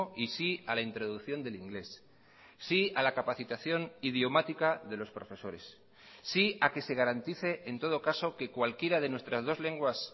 y sí a la introducción del inglés sí a la capacitación idiomática de los profesores sí a que se garantice en todo caso que cualquiera de nuestras dos lenguas